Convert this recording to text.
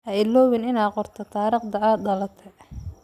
Ha iloobin inaad qorto taariikhda aad dalate.